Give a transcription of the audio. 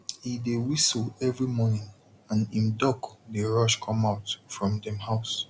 he dey whistle every morning and him duck dey rush come out from dem house